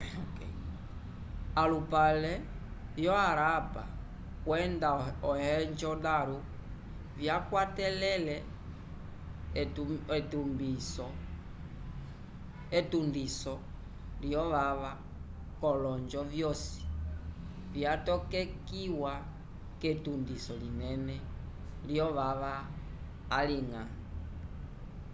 alupale vyo harappa kwenda mohenjo-daro vyakwatele etundiso lyovava k'olonjo vyosi vyatokekiwa k'etundiso linene lyovava aliñga